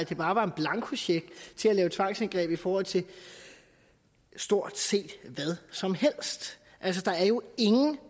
det bare var en blankocheck til at lave tvangsindgreb i forhold til stort set hvad som helst altså der er jo ingen